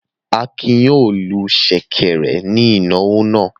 Akin yóò lu ṣẹ̀kẹ̀rẹ̀ ní ìnáwó náà.